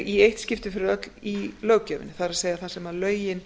í eitt skipti fyrir öll í löggjöfinni það er það sem lögin